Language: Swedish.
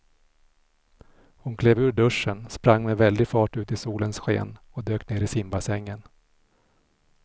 Hon klev ur duschen, sprang med väldig fart ut i solens sken och dök ner i simbassängen.